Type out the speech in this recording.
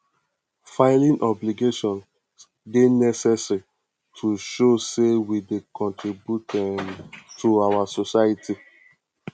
filing obligations dey necessary to show say we dey contribute um to our society